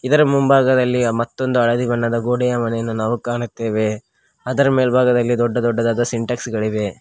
ಇದರ ಮುಂಭಾಗದಲ್ಲಿ ಮತ್ತೊಂದು ಹಳದಿ ಬಣ್ಣದ ಗೋಡೆಯ ಮನೆಯನ್ನು ನಾವು ಕಾಣುತ್ತೇವೆ ಅದರ ಮೇಲ್ಭಾಗದಲ್ಲಿ ದೊಡ್ಡ ದೊಡ್ಡದಾದ ಸಿಂಟೆಕ್ಸ್ ಗಳಿವೆ.